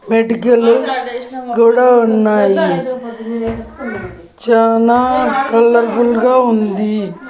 బయటకెళ్ళు గోడా ఉన్నాయి చానా కలర్ఫుల్ గా ఉంది.